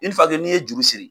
n'i ye juru siri